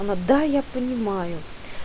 она да я понимаю